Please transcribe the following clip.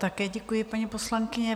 Také děkuji, paní poslankyně.